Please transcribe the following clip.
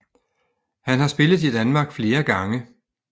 Han har spillet i Danmark flere gange